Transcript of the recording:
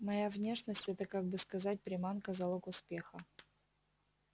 моя внешность это как бы сказать приманка залог успеха